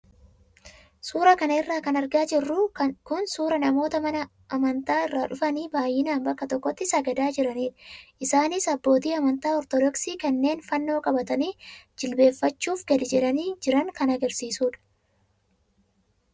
Suuraa kanarra kan argaa jirru kun suuraa namoota mana amantaa irraa dhufanii baay'inaan bakka tokkotti sagadaa jiranidha. Isaanis abbootii amantaa ortodoksii kanneen fannoo qabatanii jjilbeeffachuuf gadi jedhanii jiran kan agarsiisudha.